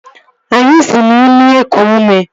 Anyị si n'imi eku ume